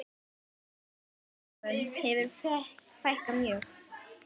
Útibúum hefur fækkað mjög.